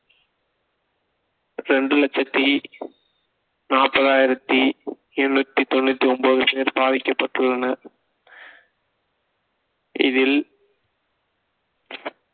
இரண்டு லட்சத்தி நாற்பதாயிரத்தி எண்ணூத்தி தொண்ணூத்தி ஒன்பது பேர் பாதிக்கப்பட்டுள்ளனர் இதில்